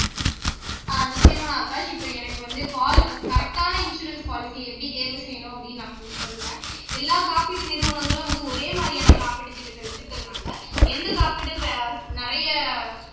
ஆஹ் நிச்சயமா ஆகாஷ் இப்ப எனக்கு வந்து பால் கரெக்டான இன்சூரன்ஸ் பாலிசி எப்படி தேர்வு செய்யணும் அப்படின்னு நான் கொஞ்சம் சொல்றேன் எல்லா காப்பீட்டு நிறுவனங்களும் வந்து ஒரே மாதிரியான காப்பீட்டு திட்டத்தை வச்சிருக்கறதுனால எந்த காப்பீடு நிறைய